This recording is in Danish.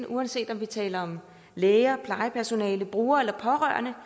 uanset om vi taler om læger plejepersonale brugere eller pårørende